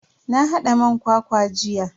Na hada man kwakwa jiya.